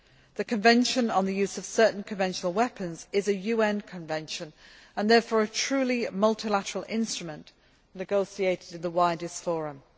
The Convention on the Use of Certain Conventional Weapons is a UN Convention and therefore, a truly multilateral instrument, negotiated in the widest forum.